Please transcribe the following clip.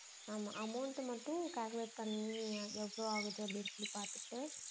ஆமாம் amount மட்டும் calculate பண்ணி எவ்வளவு ஆகுது அப்படின்னு பாத்துட்டு